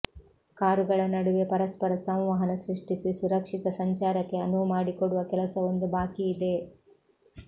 ಕಾರುಗಳ ನಡುವೆ ಪರಸ್ಪರ ಸಂವಹನ ಸೃಷ್ಟಿಸಿ ಸುರಕ್ಷಿತ ಸಂಚಾರಕ್ಕೆ ಅನುವು ಮಾಡಿಕೊಡುವ ಕೆಲಸವೊಂದು ಬಾಕಿ ಇದೆ